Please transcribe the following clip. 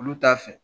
Olu t'a fɛ